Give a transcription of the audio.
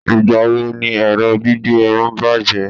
igbawo ni ẹrọ gbígbẹ Irun bajẹ